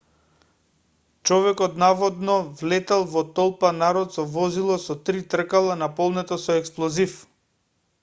човекот наводно влетал во толпа народ со возило со три тркала наполнето со експлозив